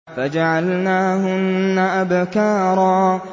فَجَعَلْنَاهُنَّ أَبْكَارًا